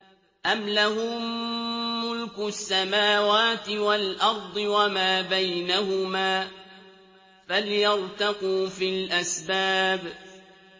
أَمْ لَهُم مُّلْكُ السَّمَاوَاتِ وَالْأَرْضِ وَمَا بَيْنَهُمَا ۖ فَلْيَرْتَقُوا فِي الْأَسْبَابِ